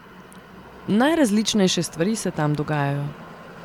Najrazličnejše stvari se tam dogajajo.